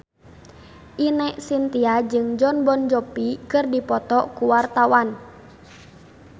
Ine Shintya jeung Jon Bon Jovi keur dipoto ku wartawan